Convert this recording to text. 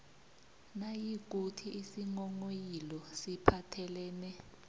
nayikuthi isinghonghoyilo siphathelene